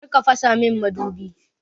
Kar ka fasa min madubi!